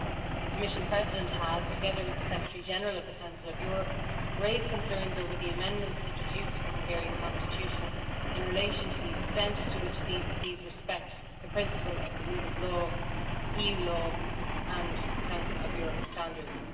The Commission President has, together with the Secretary General of the Council of Europe, raised concerns over the amendments introduced to the Hungarian constitution in relation to the extent to which these respect the principle of the rule of law, EU law and Council of Europe standards.